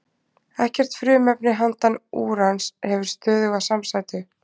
Ekkert frumefni handan úrans hefur stöðuga samsætu.